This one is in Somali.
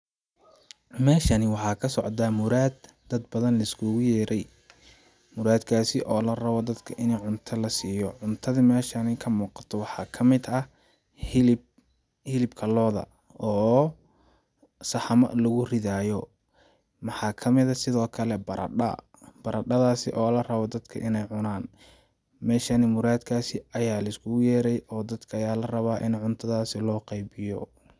Meeshani waxaa ka socdaa muraad dad badan liskugu yeeray ,muraad kaasi oo la rabo dadka ini cunta la siiyo, cuntadi meeshani ka muuqato waxaa kamid ah hilib, hilibka looda oo saxamo lagu ridaayo ,maxaa kamid eh sidoo kale baradha, baradhadaasi oo la rabo dadka ineey cunaan ,meeshani muraad kaasi ayaa liskugu yeeray oo dadka ayaa la rabaa ini cuntadaasi loo qeybiyo.